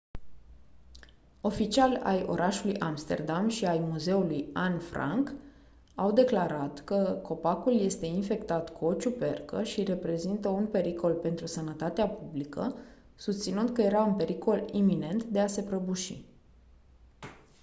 oficiali ai orașului amsterdam și ai muzeului anne franke au declarat că copacul este infectat cu o ciupercă și reprezintă un pericol pentru sănătatea publică susținând că era în pericol iminent de a se prăbuși